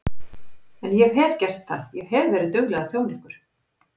En ég hef gert það, ég hef verið dugleg að þjóna ykkur.